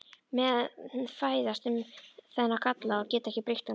Menn fæðast með þennan galla og geta ekki breytt honum.